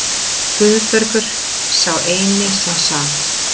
Guðbergur, sá eini sem sat.